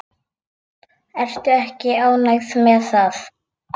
Ertu ekki ánægð með það?